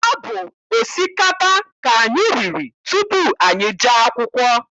Ọ bụ osikapa ka anyị riri tupu anyị jee akwụkwọ.